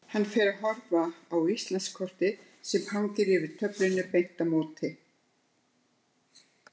Hann fer að horfa á Íslandskortið sem hangir yfir töflunni beint á móti.